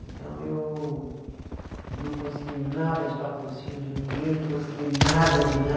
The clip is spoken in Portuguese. Então eu não consegui nada de patrocínio de ninguém, não consegui nada de nada.